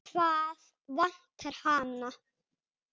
Hvað vantar hana?